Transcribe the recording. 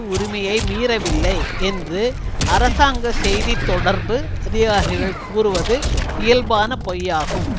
உரிமையை மீறவில்லை என்று அரசாங்க செய்தி தொடர்பு அதிகாரிகள் கூறுவது இயல்பான பொய்யாகும்